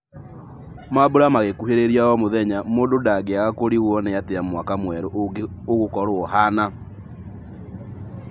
Mambura magĩkũhĩrĩria o mũthenya, mũndũ ndangĩaga kũrigwo nĩatia mwaka mwerũ ũgũkorwo ũhana.